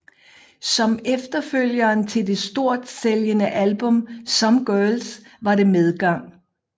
Som efterfølgeren til det stort sælgende album Some Girls var det medgang